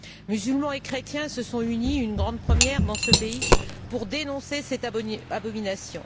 Musulmans et chrétiens se sont unis une grande première dans ce pays pour dénoncer cette abomination.